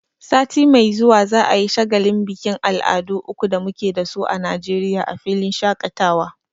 Sati mai zuwa za'a yi shagalin bikin al'adu uku da muke dasu a Najeriya a filin shaƙatawa.